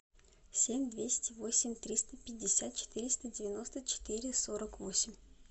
семь двести восемь триста пятьдесят четыреста девяносто четыре сорок восемь